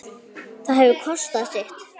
Það hefur kostað sitt.